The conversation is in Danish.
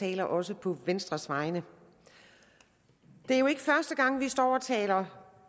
taler også på venstres vegne det er jo ikke første gang vi står og taler